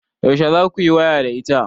Yaushe za kuyi waya da ita?